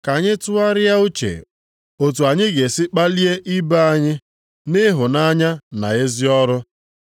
Ka anyị tụgharịa uche otu anyị ga-esi kpalie ibe anyị nʼịhụnanya na ezi ọrụ.